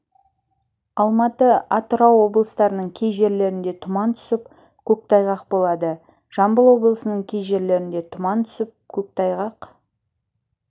алматы атырау облыстарының кей жерлерінде тұман түсіп көктайғақ болады жамбыл облысының кей жерлерінде тұман түсіп көктайғақ